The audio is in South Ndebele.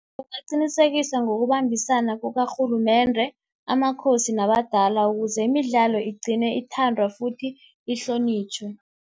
qinisekisa ngokubambisana kukarhulumende, amakhosi, nabadala ukuze imidlalo igcine ithandwa futhi ihlonitjhwe.